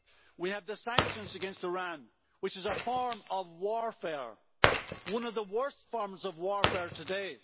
We have the sanctions against Iran, which is a form of warfare one of the worst forms of warfare today.